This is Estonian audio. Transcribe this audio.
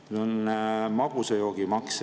Veel on magusa joogi maks.